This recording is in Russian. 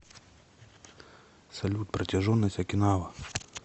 салют протяженность окинава